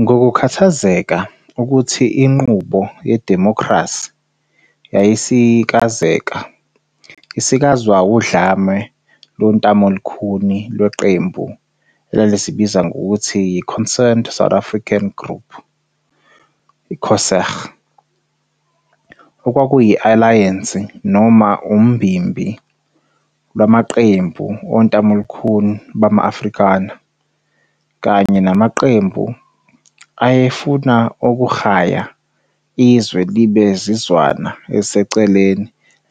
Ngokukhthazeka ukuthi inqubo yedimokhrasi yayisikazeka isikazwa wudlame lontamolukhuni leqembu elalizibiza ngokuthi yi-Concerned South Africans Group, COSAG, okwakuyi-alayense noma umbimbi lwamaqembu ontamolukhuni bma-Afrikaner, kanye namaqembu aye funa ukukraya izwe libe zizwana eziseceleni